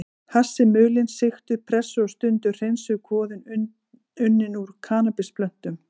Hass er mulin, sigtuð, pressuð og stundum hreinsuð kvoða unnin úr kannabisplöntum.